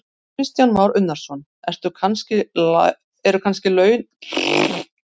Kristján Már Unnarsson: Eru kannski launin svona góð að þið hleypið engum útlendingum að?